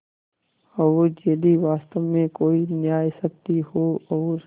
और यदि वास्तव में कोई न्यायशक्ति हो और